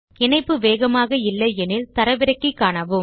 இணைப்பு வேகமாக இல்லை எனில் தரவிறக்கி காணுங்கள்